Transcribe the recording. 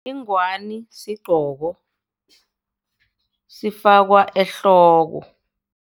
Ingwani sigqoko, sifakwa ehloko.